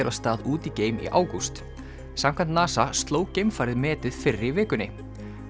af stað út í geim í ágúst samkvæmt NASA sló geimfarið metið fyrr í vikunni